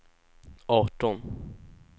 arton